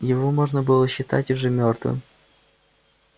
его можно было считать уже мёртвым